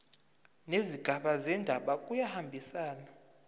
nezigaba zendaba kuyahambisana